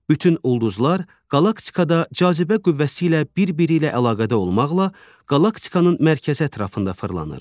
Bütün ulduzlar qalaktikada cazibə qüvvəsi ilə birbiri ilə əlaqədə olmaqla qalaktikanın mərkəzi ətrafında fırlanır.